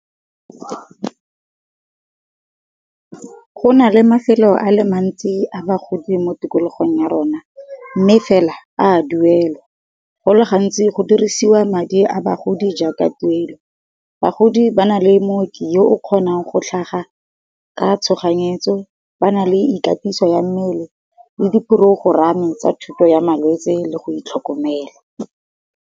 Go na le mafelo a le mantsi a bagodi mo tikologong ya rona, mme fela a duelwa, go le gantsi go dirisiwa madi a bagodi jang ka tuelo. Bagodi ba na le mooki yo o kgonang go tlhaga ka tshoganyetso, ba na le ikatiso ya mmele le di porogorame tsa thuto ya malwetse le go itlhokomela.